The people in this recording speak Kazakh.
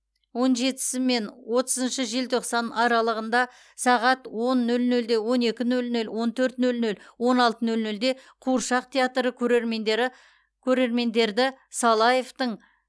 он жетісімен отызыншы желтоқсан аралығында сағат он нөл нөл он екі нөл нөл он төрт нөл нөл он алты нөл нөлде қуыршақ театры көрермендері көрермендерді салаевтың